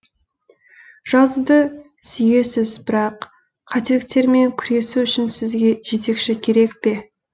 жазуды сүйесіз бірақ қателіктермен күресу үшін сізге жетекші керек пе